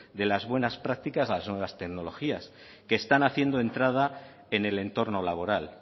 de las buenas prácticas las nuevas tecnologías que están haciendo entrada en el entorno laboral